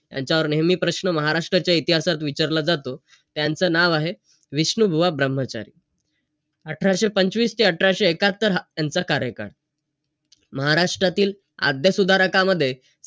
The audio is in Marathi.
आणि आपल्या समोरच्या व्यक्तीपासूनच चांगले व्हायचं .